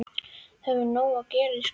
Þú hefur nóg að gera í skólanum.